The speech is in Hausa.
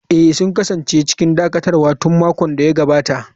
Eh, sun kasance cikin dakatarwa tun makon da ya gabata.